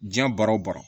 Diɲɛ baara o baara